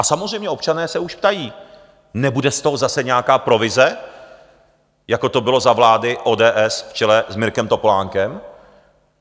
A samozřejmě, občané se už ptají: Nebude z toho zase nějaká provize, jako to bylo za vlády ODS v čele s Mirkem Topolánkem?